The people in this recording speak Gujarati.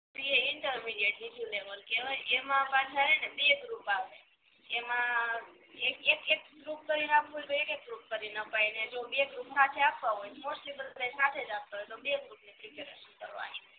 ઇ ઇન્ટરમિડીએટ બીજું લેવલ કેવાય એમાં પાછા સેને બે ગ્રુપ આવે એમાં એ એક ગ્રુપ કરીને આપવું હોય તો એક એક કરીને અપાય અને જો બે ગ્રુપ સાથે આપવા હો મોસ્ટલી બધાય સાથે જ આપતા હોય તો બે ગ્રુપ ની પ્રેપરેસન કરવાની